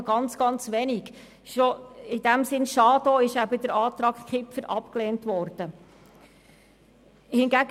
Aus diesem Grund ist es auch schade, dass der Antrag Kipfer abgelehnt worden ist.